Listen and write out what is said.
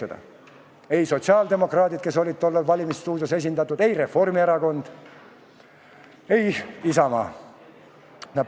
Ei teinud sotsiaaldemokraadid, kes olid "Valimisstuudios" esindatud, ei teinud Reformierakond ega Isamaa.